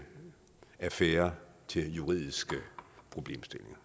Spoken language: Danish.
affærer til juridiske problemstillinger